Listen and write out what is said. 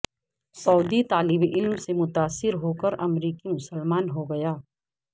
سعودی طالب علم سے متاثر ہوکر امریکی مسلمان ہوگیا